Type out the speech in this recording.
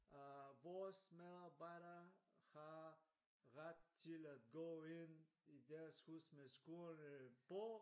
Øh vores medarbejdere har ret til at gå ind i Deres hus med skoene på